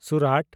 Surat